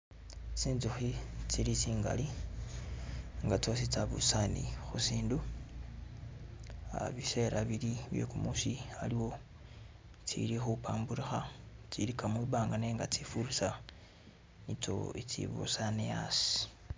Tsintsukhi tsili tsingali nga tsabusane khusindu uh bisela bili byekumusi aliwo tsili khupamburukha tsilika mumbanga nenga tsifurisa nitso tsibusane asi